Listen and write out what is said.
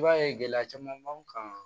I b'a ye gɛlɛya caman b'an kan